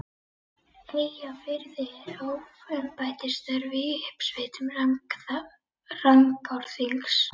Eyjafirði en hóf embættisstörf í uppsveitum Rangárþings.